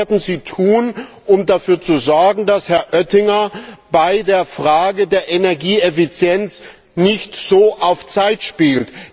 Und was werden Sie tun, um dafür zu sorgen, dass Herr Oettinger bei der Frage der Energieeffizienz nicht so auf Zeit spielt?